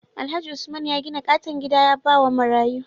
Alhaji usman ya gidan katon gida yabawa marayu